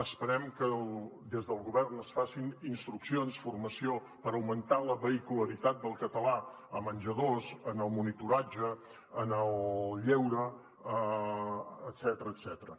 esperem que des del govern es facin instruccions formació per augmentar la vehicularitat del català a menjadors en el monitoratge en el lleure etcètera